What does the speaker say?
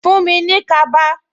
Fuhn mi ní kaba